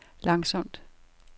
langsomt